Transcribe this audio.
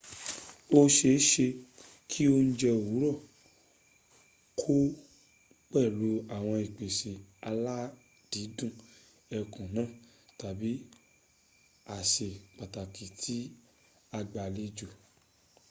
ó seése kí oùnje òwúrọ̀ kọ pẹ̀lú àwọn ìpèsè aládìídù ẹkùn náà tàbí àsè pàtàkì tí agbàlejò